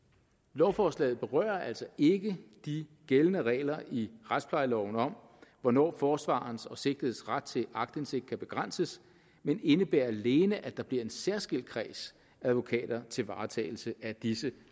lovforslaget berører altså ikke de gældende regler i retsplejeloven om hvornår forsvarerens og sigtedes ret til aktindsigt kan begrænses men indebærer alene at der bliver en særskilt kreds af advokater til varetagelse af disse